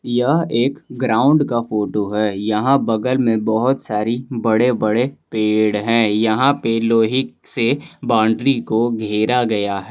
यह एक ग्राउंड का फोटो है यहां बगल में बहोत सारी बड़े बड़े पेड़ हैं यहां पर लोहे से बाउंड्री को घेरा गया है।